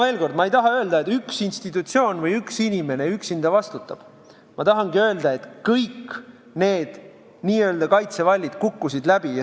Veel kord: ma ei taha öelda, et üks institutsioon või üks inimene üksinda vastutab, ma tahangi öelda, et kõik need n-ö kaitsevallid kukkusid läbi.